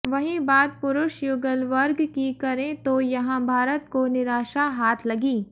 वहीं बात पुरुष युगल वर्ग की करें तो यहां भारत को निराशा हाथ लगी